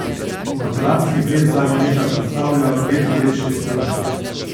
Maturantski ples zadnja leta predstavlja vedno večji strošek.